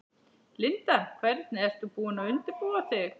Linda: Hvernig ert þú búin að undirbúa þig?